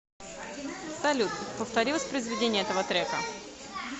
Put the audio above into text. салют повтори воспроизведение этого трека